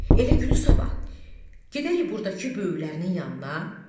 Elə günü sabah gedərik burdakı böyüklərinin yanına.